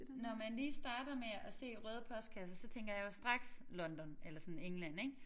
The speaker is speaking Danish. Når man lige starter med at se røde postkasser så tænker jeg jo straks London eller sådan England ik